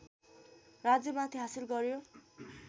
राज्यमाथि हासिल गर्‍यो